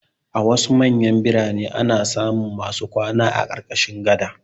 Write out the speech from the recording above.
A wasu manyan biranen ana samun masu kwana a ƙarƙashin gada.